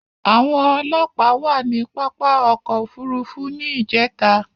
Àwọn òlọ́pà wà ni pàpá ọ̀kọ̀ ofúrúfú ní ìjẹta